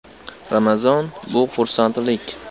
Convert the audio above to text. Ramazon – bu xursandlik.